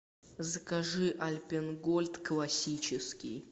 закажи альпен гольд классический